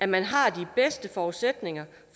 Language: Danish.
man har de bedste forudsætninger